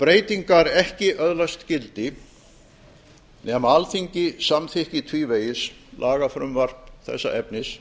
breytingar ekki öðlast gildi nema alþingi samþykki tvívegis lagafrumvarp þessa efnis